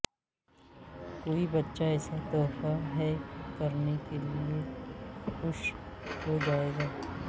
کوئی بچہ ایسا تحفہ ہے کرنے کے لئے خوش ہو جائے گا